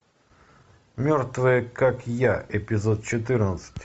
мертвые как я эпизод четырнадцать